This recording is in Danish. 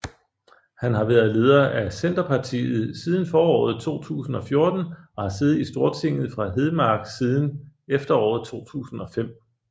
Han har været leder af Senterpartiet siden foråret 2014 og har siddet i Stortinget fra Hedmark siden efteråret 2005